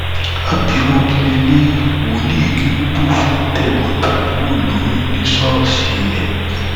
abirú kílẹlẹyìí wòlíì kérúbù fún tẹgbọntàbúrò lóyún ní ṣọọṣì ẹ